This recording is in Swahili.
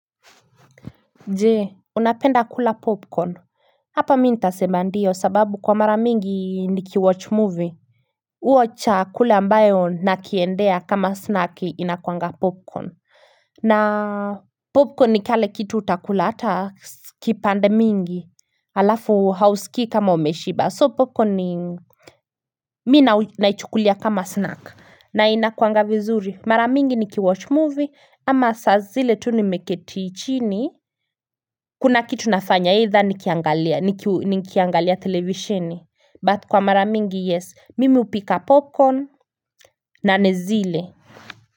Ne unapenda kula popcorn hapa mi ntaseba ndio sababu kwa mara mingi ni ki watch movie uo cha kule ambayo nakiendea kama snack inakuanga popcorn na popcorn ni kale kitu utakula hata kipande mingi alafu hausiki kama umeshiba so popcorn ni mina naichukulia kama snack na inakuanga vizuri mara mingi ni ki watch movie ama sa zile tunimeketi chini Kuna kitu nafanya ita nikiangalia televisheni But kwa maramingi yes, mimi upika popcorn na nezile.